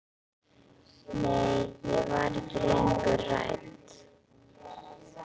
Nei, ég var ekki lengur hrædd.